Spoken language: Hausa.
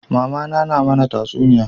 Mamana na mana tatsuniyoyi